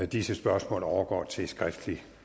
disse spørgsmål overgår til skriftlig